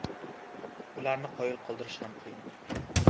Ularni qoyil qoldirish ham qiyin.